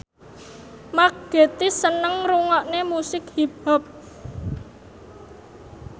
Mark Gatiss seneng ngrungokne musik hip hop